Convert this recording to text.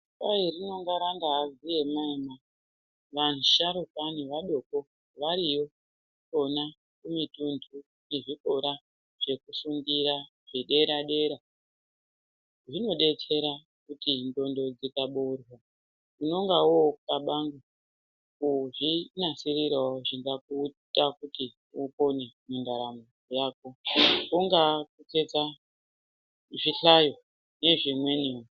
Kwai rinenge angaa ziema ema. Vasharukwa nevadoko variyo kwona kumitunhu yezvikora chekufundira chedera dera. Zvinodetsera kuti ndxondo dzikabourwa unenge woxlabanga kuzvinasirirawo zvingakuita kuti upone mundaramo yako. Kungaa kutsetsa zvihlayo nezvimweniwo.